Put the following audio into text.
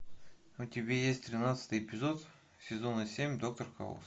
у тебя есть тринадцатый эпизод сезона семь доктор хаус